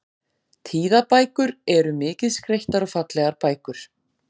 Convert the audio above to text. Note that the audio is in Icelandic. tíðabækur eru mikið skreyttar og fallegar bækur